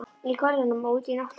Í görðum og úti í náttúrunni.